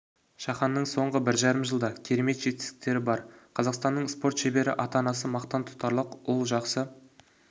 шаханның соңғы бір жарым жылда керемет жетістіктері бар қазақстанның спорт шебері ата-анасы мақтан тұтарлық ұл жақсы